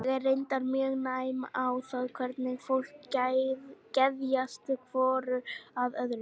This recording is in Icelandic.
Ég er reyndar mjög næm á það hvernig fólki geðjast hvoru að öðru.